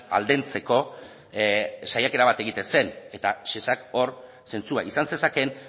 aldentzeko saiakera bat egiten zen eta shesak hor zentzua izan zezakeen